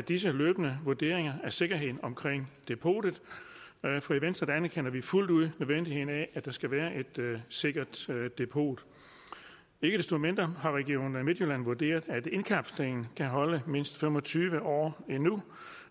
disse løbende vurderinger af sikkerheden omkring depotet for i venstre anerkender vi fuldt ud nødvendigheden af at der skal være et sikkert depot ikke desto mindre har region midtjylland vurderet at indkapslingen kan holde mindst fem og tyve år endnu